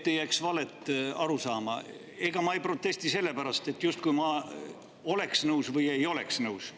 Et ei jääks valet arusaama: ega ma ei protesti sellepärast, et ma justkui oleks nõus või ei oleks nõus.